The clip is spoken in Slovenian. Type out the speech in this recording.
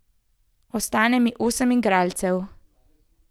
Ostane mi osem igralcev.